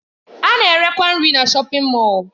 A na-erekwa nri na shọpin Mọll.